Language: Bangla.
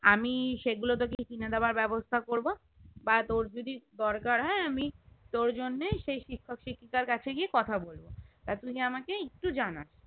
আমি সেগুলো তোকে কিনে দেবার ব্যবস্থা করবো বা তোর যদি দরকার হয়ে আমি তোর জন্য সেই শিক্ষক শিক্ষিকার কাছে গিয়ে কথা বলবো তা তুই আমাকে একটু জানাস